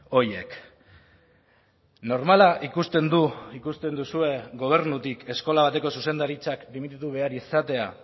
horiek normala ikusten du ikusten duzue gobernutik eskola bateko zuzendaritzak bi minutu behar izatea